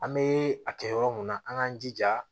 An bɛ a kɛ yɔrɔ mun na an k'an jija